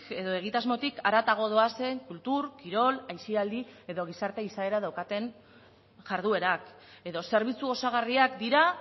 edo egitasmotik haratago doazen kultur kirol aisialdi edo gizarte izaera daukaten jarduerak edo zerbitzu osagarriak dira